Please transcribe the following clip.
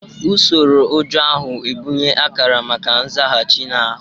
Usoro ụjọ ahụ na-ebunye akara maka nzaghachi na ahụ.